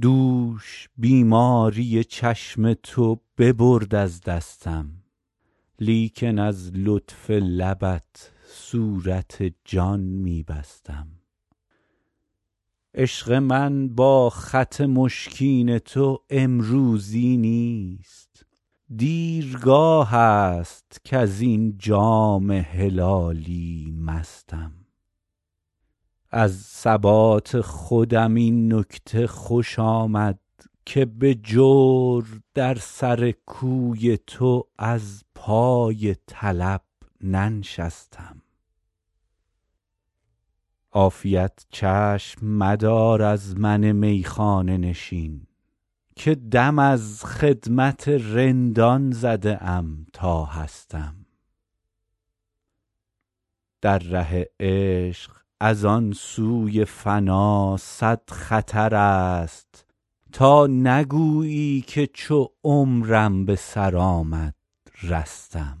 دوش بیماری چشم تو ببرد از دستم لیکن از لطف لبت صورت جان می بستم عشق من با خط مشکین تو امروزی نیست دیرگاه است کز این جام هلالی مستم از ثبات خودم این نکته خوش آمد که به جور در سر کوی تو از پای طلب ننشستم عافیت چشم مدار از من میخانه نشین که دم از خدمت رندان زده ام تا هستم در ره عشق از آن سوی فنا صد خطر است تا نگویی که چو عمرم به سر آمد رستم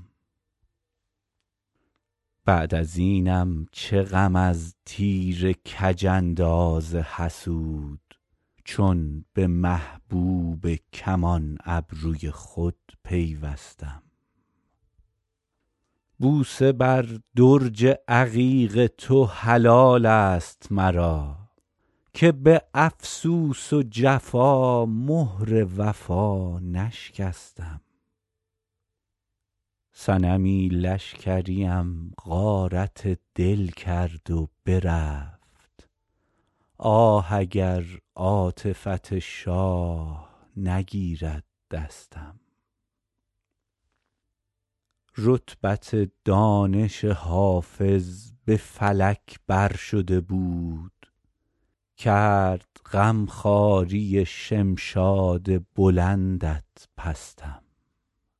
بعد از اینم چه غم از تیر کج انداز حسود چون به محبوب کمان ابروی خود پیوستم بوسه بر درج عقیق تو حلال است مرا که به افسوس و جفا مهر وفا نشکستم صنمی لشکریم غارت دل کرد و برفت آه اگر عاطفت شاه نگیرد دستم رتبت دانش حافظ به فلک بر شده بود کرد غم خواری شمشاد بلندت پستم